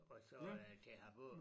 Og så øh til Harboøre